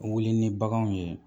Wuli ni baganw ye